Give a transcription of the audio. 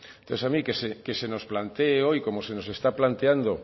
entonces a mí que se nos plantee hoy como se nos está planteando